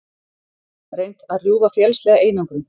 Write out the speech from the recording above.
Reynt að rjúfa félagslega einangrun